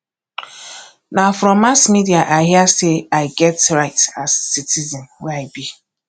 na from mass media i hear sey i get right as citizen wey i be